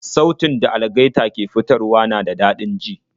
Sautin da algaita ke fitarwa na da dadin ji